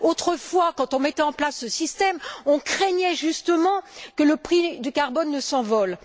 Autrefois, quand on mettait en place ce système, on craignait justement que le prix du carbone ne s'envole.